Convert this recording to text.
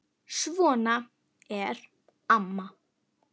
Svona er amma.